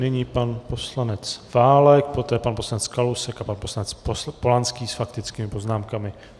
Nyní pan poslanec Válek, poté pan poslanec Kalousek a pan poslanec Polanský s faktickými poznámkami.